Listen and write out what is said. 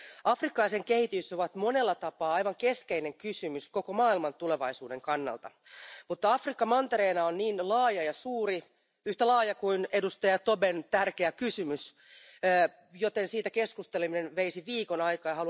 Afrikka ja sen kehitys ovat monella tapaa aivan keskeinen kysymys koko maailman tulevaisuuden kannalta, mutta Afrikka mantereena on niin laaja ja suuri yhtä laaja kuin edustaja Tobén tärkeä kysymys, joten siitä keskusteleminen veisi viikon aikaa.